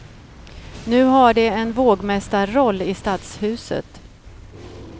Nu har de en vågmästarroll i stadshuset.